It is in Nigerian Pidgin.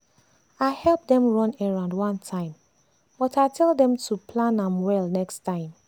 i help dem run errand one time but i tell dem to plam am well next time.